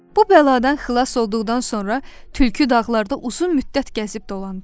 Bu bəladan xilas olduqdan sonra tülkü dağlarda uzun müddət gəzib dolandı.